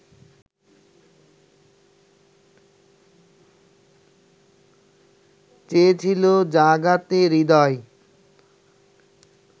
চেয়েছিলো জাগাতে হৃদয়